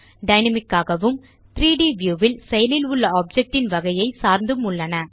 dynamic ஆகவும் 3ட் view ல் செயலில் உள்ள ஆப்ஜெக்ட் ன் வகையை சார்ந்தும் உள்ளன